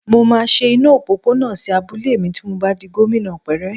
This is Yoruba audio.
Mo máa ṣe iná òpópónà sí abúlé mi ti mo bá di gómìnà pẹ́rẹ́